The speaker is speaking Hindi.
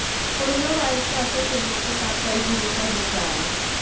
कोरोना वायरस का असर फिल्मों के साथ कई चीजों पर दिख रहा है